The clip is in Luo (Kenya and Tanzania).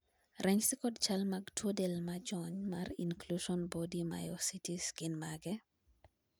ranyisi kod chal mag tuo del majony mar incluson body mayositis gin mage?